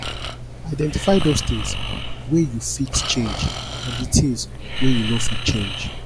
identify those things wey you fit change and di things wey you no fit change